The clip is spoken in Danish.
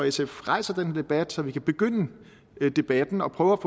sf rejser den her debat så vi kan begynde debatten og prøve